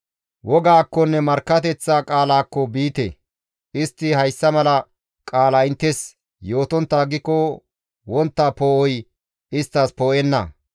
Wogaakkonne markkateththa qaalaakko biite! Istti hayssa mala qaala inttes yootontta aggiko wontta poo7oy isttas poo7enna.